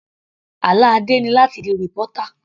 Àlá Adé ni láti di reporter.